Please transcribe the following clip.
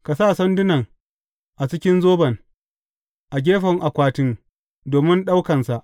Ka sa sandunan a cikin zoban, a gefen akwatin domin ɗaukansa.